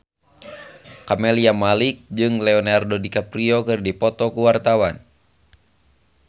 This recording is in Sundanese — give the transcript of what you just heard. Camelia Malik jeung Leonardo DiCaprio keur dipoto ku wartawan